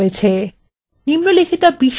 এখন একটি অনুশীলনী রয়েছে :